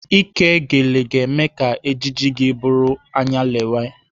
Ike gele ga-eme ka ejiji gị bụrụ anyalewe